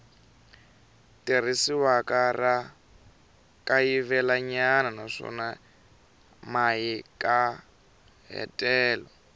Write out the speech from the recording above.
tirhisiwaka ra kayivelanyana naswona mahikahatelo